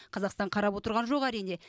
қазақстан қарап отырған жоқ әрине